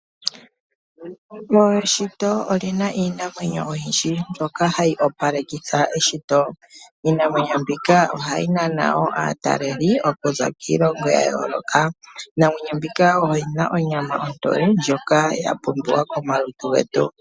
Eshito olina iinamwenyo oyindji mbyoka hayi opalekitha Eshito. Iinamwenyo mbika ohayi nana woo aataleli okuza kiilongo ya yooloka. Iinamwenyo mbika oyina onyama ontoye ndjok ya pumbiwa komalutu getu.